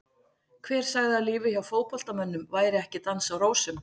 Hver sagði að lífið hjá fótboltamönnum væri ekki dans á rósum?